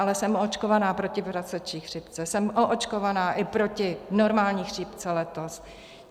Ale jsem očkovaná proti prasečí chřipce, jsem oočkovaná i pro normální chřipce letos.